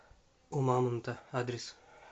у мамонта адрес